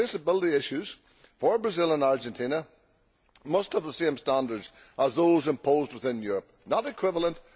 The traceability issues for Brazil and Argentina must have the same standards as those imposed within Europe not equivalent